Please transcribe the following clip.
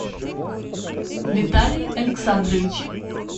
виталий александрович